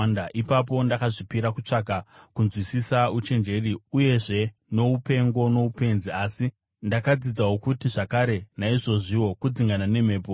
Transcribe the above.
Ipapo ndakazvipira kutsvaka kunzwisisa uchenjeri uyezve noupengo noupenzi, asi ndakadzidzawo zvakare kuti, naizvozviwo kudzingana nemhepo.